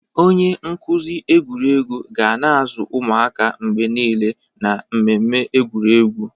Onye nkuzi egwuregwu ga na-azụ ụmụaka mgbe niile na mmemme egwuregwu.